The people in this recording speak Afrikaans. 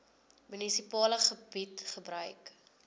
munisipale gebied gebruik